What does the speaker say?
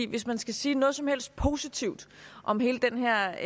hvis man skal sige noget som helst positivt om hele den her